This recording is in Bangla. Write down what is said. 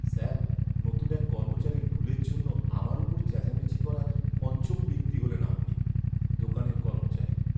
স্যার, নতুন এক কর্মচারীর ভুলের জন্য আমার ওপর চেঁচামেচি করা পঞ্চম ব্যক্তি হলেন আপনি। দোকানের কর্মচারী